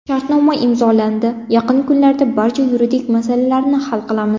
Shartnoma imzolandi, yaqin kunlarda barcha yuridik masalalarni hal qilamiz.